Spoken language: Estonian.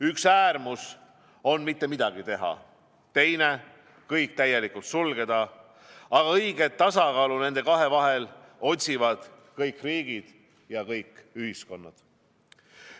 Üks äärmus on mitte midagi teha, teine on kõik täielikult sulgeda, aga õiget tasakaalu nende kahe vahel otsivad kõik riigid ja kõik ühiskonnad.